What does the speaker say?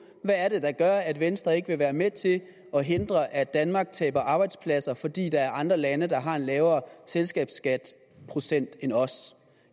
hvad er det der gør at venstre ikke vil være med til at hindre at danmark taber arbejdspladser fordi der er andre lande der har en lavere selskabsskatteprocent end os